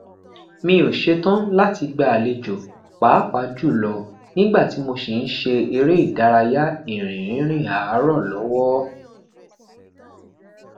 mi o ṣetan lati gba alejo paapaa julọ nigba ti mo si n ṣe ere idaraya irin rinrin aarọ lọwọ